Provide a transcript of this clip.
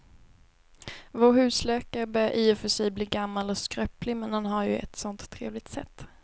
Vår husläkare börjar i och för sig bli gammal och skröplig, men han har ju ett sådant trevligt sätt!